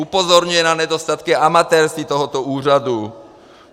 Upozorňuje na nedostatky, amatérství tohoto úřadu.